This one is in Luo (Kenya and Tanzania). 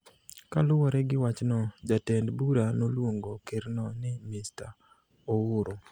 Kaluwore gi wachno, jatend bura noluongo Kerno ni Mr Ouru